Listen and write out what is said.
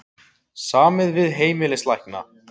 Samið við heimilislækna